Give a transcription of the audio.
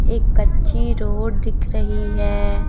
एक कच्ची रोड दिख रही है।